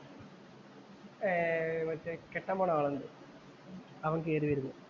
ഏർ മറ്റേ കെട്ടാന്‍ പോന്ന ആളുണ്ട്. അവന്‍ കേറി വരുന്നു.